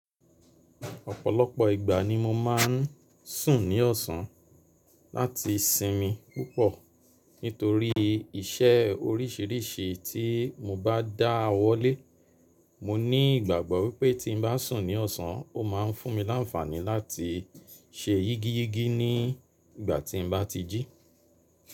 Ọ̀pọ̀lọpọ̀ ìgbà ni mo má n sùn ní ọ̀sán láti sinmi púpọ̀ nítorí iṣẹ́ oríṣiríṣi tí mo bá dá owó lè Mo ní ìgbàgbọ́ wípé tí n bá sùn ní ọ̀sán, ó ma ń fún mi láńfàní láti ṣe yígi yígi ní ìgbà tí n bá ti jí.